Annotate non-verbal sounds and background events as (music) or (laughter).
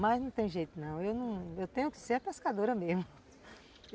Mas não tem jeito não, eu tenho que ser a pescadora mesmo (laughs)